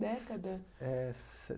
Década? Eh